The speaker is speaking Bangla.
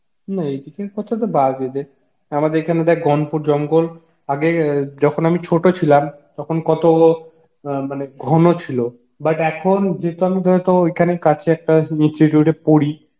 না এইদিকের কথা তো বাদই দে আমাদের এখানে দেখ জঙ্গল আগে যখন আমি ছোট ছিলাম তখন কত অ্যাঁ মানে ঘন ছিল but এখন যেহেতু আমি ধর আমি তো ঐখানে কাছে একটা institute এ পরি